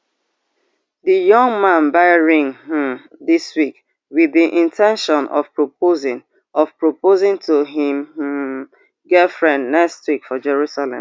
di young man buy ring um dis week wit di in ten tion of proposing of proposing to im um girlfriend next week for jerusalem